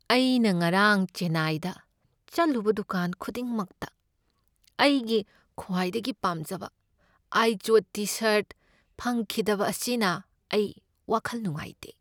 ꯑꯩꯅ ꯉꯔꯥꯡ ꯆꯦꯟꯅꯥꯏꯗ ꯆꯠꯂꯨꯕ ꯗꯨꯀꯥꯟ ꯈꯨꯗꯤꯡꯃꯛꯇ ꯑꯩꯒꯤ ꯈ꯭ꯋꯥꯏꯗꯒꯤ ꯄꯥꯝꯖꯕ ꯑꯥꯏꯖꯣꯗ ꯇꯤ ꯁꯔꯠ ꯐꯪꯈꯤꯗꯕ ꯑꯁꯤꯅ ꯑꯩ ꯋꯥꯈꯜ ꯅꯨꯡꯉꯥꯏꯇꯦ꯫